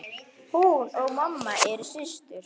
Hún og mamma eru systur.